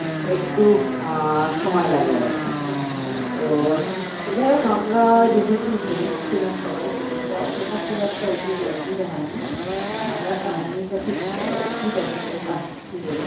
একটু আহ সময় লাগে আর কি তো যাই হোক আমরা যেহেতু gents ছিলাম সবাই তো সেইটা অতটা খুব একটা অসু অসুবিধা হয়নি আর আমরা একটা homeopathy ওষুধ আছে coca sixty বলে